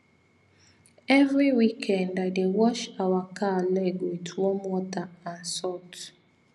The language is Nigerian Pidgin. every weekend i dey wash our cow leg with warm water and salt